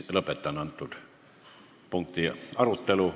Lõpetan selle punkti arutelu.